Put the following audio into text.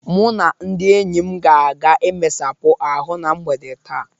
Mụ na ndị enyi m ga-aga imesapụ ahụ na mgbe taa.